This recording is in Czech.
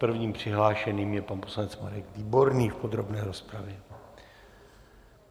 Prvním přihlášeným je pan poslanec Marek Výborný v podrobné rozpravě.